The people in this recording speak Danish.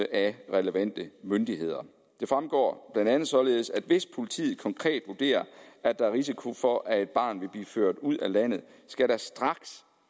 af relevante myndigheder det fremgår blandt andet således at der hvis politiet konkret vurderer at der er risiko for at et barn vil blive ført ud af landet så straks